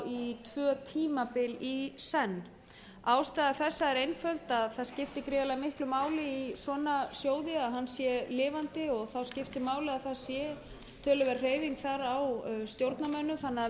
í tvö tímabil í senn ástæða þessa er einföld það skiptir gríðarlega miklu máli í svona sjóði að hann sé lifandi og þá skiptir máli að það sé töluverð hreyfing þar á stjórnarmönnum þannig að